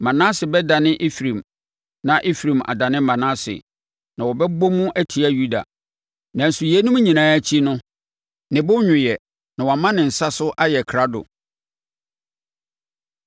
Manase bɛdane Efraim na Efraim adane Manase na wɔbɛbɔ mu atia Yuda. Nanso yeinom nyinaa akyi no, ne bo nnwoeɛ, na wama ne nsa so ayɛ krado.